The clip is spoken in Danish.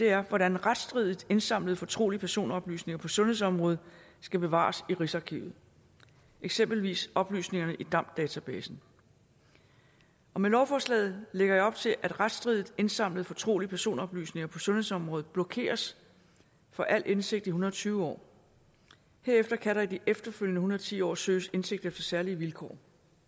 er hvordan retsstridigt indsamlede fortrolige personoplysninger på sundhedsområdet skal bevares i rigsarkivet eksempelvis oplysningerne i damd databasen med lovforslaget lægger jeg op til at retsstridigt indsamlede fortrolige personoplysninger på sundhedsområdet blokeres for al indsigt i en hundrede og tyve år herefter kan der i de efterfølgende og ti år søges indsigt efter særlige vilkår